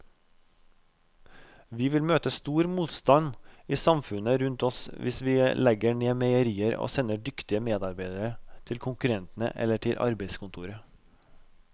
Vi vil møte stor motstand i samfunnet rundt oss hvis vi legger ned meierier og sender dyktige medarbeidere til konkurrentene eller til arbeidskontoret.